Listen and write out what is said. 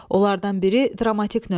Onlardan biri dramatik növdür.